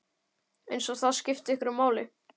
Eins og það skipti einhverju máli!